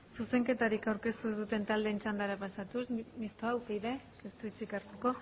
zuzenketarik aurkeztu ez duten taldeen txandara pasatuz mistoa upyd ez du hitzik hartuko